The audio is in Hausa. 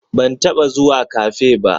Ban taba zuwa Cafe ba